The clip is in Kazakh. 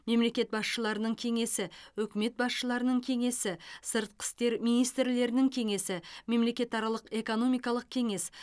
мемлекет басшыларының кеңесі үкімет басшыларының кеңесі сыртқы істер министрлерінің кеңесі мемлекетаралық экономикалық кеңес